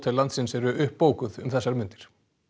landsins eru uppbókuð um þessar mundir